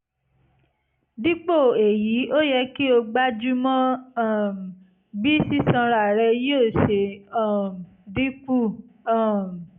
dípò èyí ó yẹ kí o gbájúmọ́ um bí sísanra rẹ yóò ṣe um dínkù um